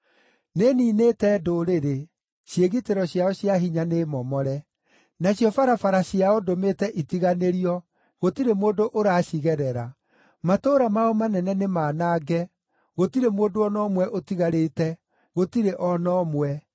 “Nĩniinĩte ndũrĩrĩ; ciĩgitĩro ciao cia hinya nĩ momore. Nacio barabara ciao ndũmĩte itiganĩrio, gũtirĩ mũndũ ũracigerera. Matũũra mao manene nĩmanange; gũtirĩ mũndũ o na ũmwe ũtigarĩte, gũtirĩ o na ũmwe.